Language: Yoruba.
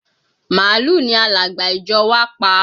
Màálù ni alàgbà ìjọ wá pa